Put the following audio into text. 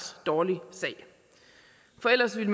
dårlig sag for ellers ville